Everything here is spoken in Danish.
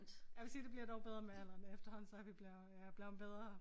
Jeg vil sige det bliver dog bedre med alderen efterhånden så er vi blevet jeg er blevet bedre